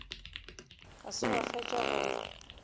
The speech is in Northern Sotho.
ga se wa fetša go